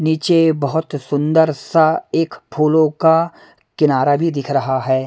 नीचे बहुत सुंदर सा एक फूलों का किनारा भी दिख रहा है।